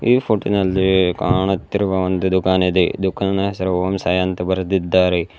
ಈ ಫೋಟೋ ನಲ್ಲಿ ಕಾಣುತ್ತಿರುವ ಒಂದು ದುಖಾನ್ ಇದೆ ದುಖಾನ್ ಹೆಸರು ಓಂ ಸಾಯಿ ಅಂತ ಬರೆದಿದ್ದಾರೆ.